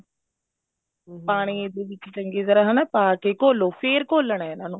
ਪਾਣੀ ਦੇ ਵਿੱਚ ਚੰਗੀ ਤਰ੍ਹਾਂ ਹਨਾ ਪਾਕੇ ਘੋਲੋ ਫ਼ੇਰ ਘੋਲਨਾ ਇਹਨਾ ਨੂੰ